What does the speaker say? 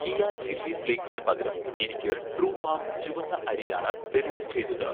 കിയാ chilli ഫ്ലേക്സിന് പകരം എനിക്ക് 'ട്രൂഫാം' ചുവന്ന അരി ആണ് ഡെലിവർ ചെയ്തത്